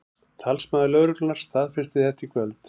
Talsmaður lögreglunnar staðfesti þetta í kvöld